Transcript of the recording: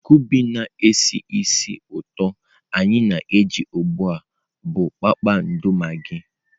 Kụịbụ na-esi ísì ụtọ anyị na-eji ugbu a bụ kpakpando magị.